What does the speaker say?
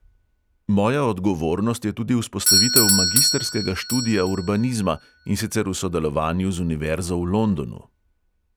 Moja odgovornost je tudi vzpostavitev magistrskega študija urbanizma, in sicer v sodelovanju z univerzo v londonu.